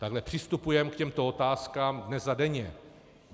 Takhle přistupujeme k těmto otázkám dnes a denně.